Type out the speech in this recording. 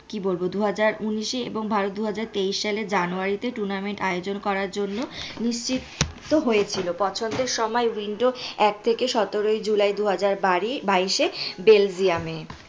কি বলবো দুহাজার উনিশে এবং দুহাজার তেইশ সালে জানুয়ারিতে tournament আয়োজন করার জন্য নিশ্চিন্ত হয়েছিল পছন্দের সময় এক থেকে সতেরো জুলাই দুহাজার বাড়ি বাইশে বেলজিয়ামে।